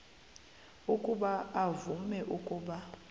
ukuba uvume ukuba